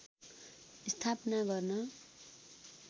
स्थापना गर्न